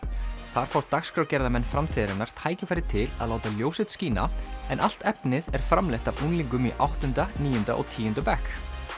þar fá dagskrárgerðarmenn framtíðarinnar tækifæri til að láta ljós sitt skína en allt efnið er framleitt af unglingum í áttunda níunda og tíunda bekk